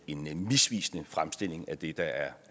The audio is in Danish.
en misvisende fremstilling af det der er